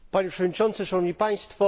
Panie Przewodniczący! Szanowni Państwo!